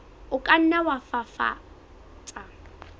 o ka nna wa fafatsa